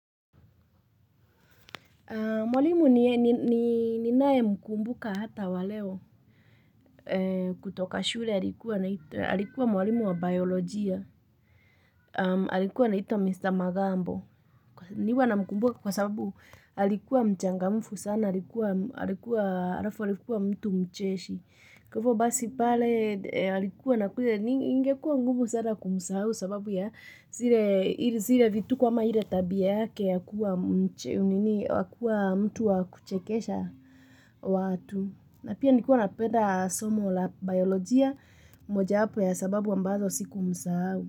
Mwalimu ninaye mkumbuka hata wa leo kutoka shule alikuwa mwalimu wa biolojia, alikuwa anaitwa Mr. Magambo, niwa namkumbuka kwa sababu alikuwa mchangamfu sana alikuwa mtu mcheshi. Kwa hivo basi pale alikuwa na kuze ingekuwa ngumu sana kumsahu sababu ya zile vituko ama ile tabia yake ya kuwa mtu wa kuchekesha watu na pia nilikuwa napeda somo la biolojia moja yapo ya sababu ambazo sikumsahau.